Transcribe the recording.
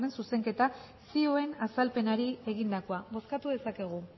zuzenketa zioen azalpenari egindakoa bozkatu dezakegu